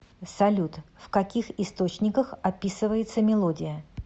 салют в каких источниках описывается мелодия